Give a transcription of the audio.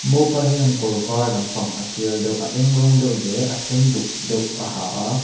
mopa hian kawr var lampang a tial deuh a eng rawng deuh leh a sen duk deuh a ha a.